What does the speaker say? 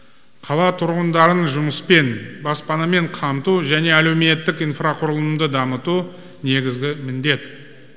қала тұрғындарын жұмыспен баспанамен қамту және әлеуметтік инфрақұрылымды дамыту негізгі міндет